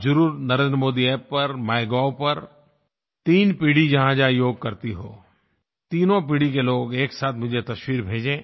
आप ज़रूर NarendraModiApp पर माइगोव पर तीन पीढ़ी जहाँजहाँ योग करती हो तीनों पीढ़ी के लोग एक साथ मुझे तस्वीर भेजें